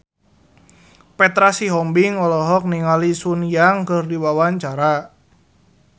Petra Sihombing olohok ningali Sun Yang keur diwawancara